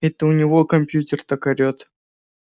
это у него компьютер так орёт